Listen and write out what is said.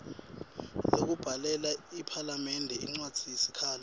lekubhalela iphalamende incwadzisikhalo